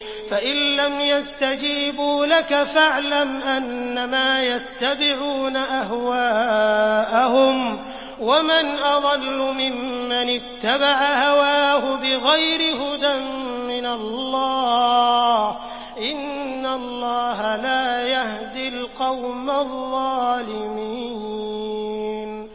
فَإِن لَّمْ يَسْتَجِيبُوا لَكَ فَاعْلَمْ أَنَّمَا يَتَّبِعُونَ أَهْوَاءَهُمْ ۚ وَمَنْ أَضَلُّ مِمَّنِ اتَّبَعَ هَوَاهُ بِغَيْرِ هُدًى مِّنَ اللَّهِ ۚ إِنَّ اللَّهَ لَا يَهْدِي الْقَوْمَ الظَّالِمِينَ